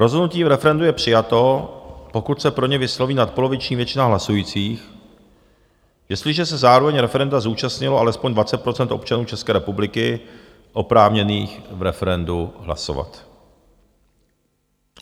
Rozhodnutí v referendu je přijato, pokud se pro ně vysloví nadpoloviční většina hlasujících, jestliže se zároveň referenda zúčastnilo alespoň 20 % občanů České republiky oprávněných v referendu hlasovat.